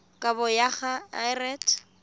kabo go ya ka lrad